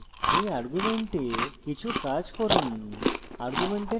এই arguments কিছু কাজ করুন